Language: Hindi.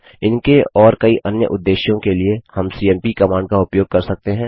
इनके और कई अन्य उद्देश्यों के लिए हम सीएमपी कमांड का उपयोग कर सकते हैं